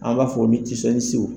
Ala b'a fɔ